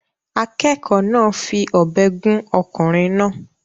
Akẹ́kọ̀ọ́ náà fi ọ̀bẹ gún ọkùnrin náà